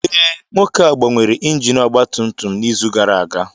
Ee, nwoke ahụ gbanwere injin ọgba tum tum n'izu gara aga